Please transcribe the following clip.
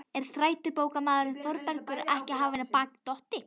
En þrætubókarmaðurinn Þórbergur er ekki af baki dottinn.